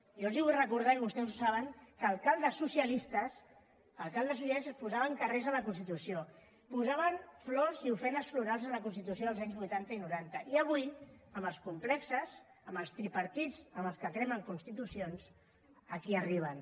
jo els vull recordar i vostès ho saben que alcaldes socialistes posaven carrers a la constitució posaven flors i ofrenes florals a la constitució als anys vuitanta i noranta i avui amb els complexos amb els tripartits amb els que cremen constitucions aquí arriben